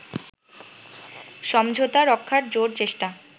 সমঝোতা রক্ষার জোর চেষ্টা